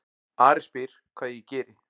Ari spyr hvað ég geri.